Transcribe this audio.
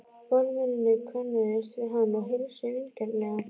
Varðmennirnir könnuðust við hann og heilsuðu vingjarnlega.